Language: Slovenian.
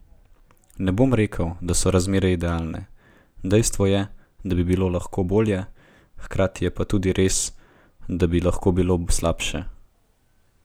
Ne bom rekel, da so razmere idealne, dejstvo je, da bi bilo lahko bolje, hkrati je pa tudi res, da bi lahko bilo slabše.